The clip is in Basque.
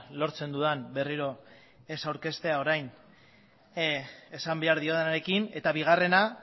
lortzen dudan berriro ez aurkeztea orain esan behar diodanarekin eta bigarrena